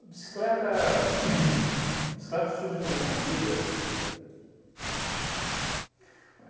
A bicicleta uhn surge na minha vida.